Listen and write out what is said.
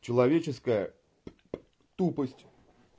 человеческая тупость